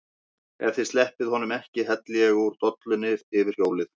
EF ÞIÐ SLEPPIÐ HONUM EKKI HELLI ÉG ÚR DOLLUNNI YFIR HJÓLIÐ!